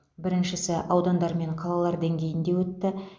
біріншісі аудандар мен қалалар деңгейінде өтті